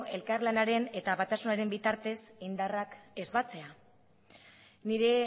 elkarlanaren eta batasunaren bitartez indarrak ez batzea nire